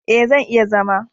E, zan iya zama.